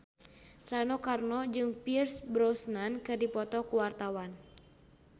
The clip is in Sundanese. Rano Karno jeung Pierce Brosnan keur dipoto ku wartawan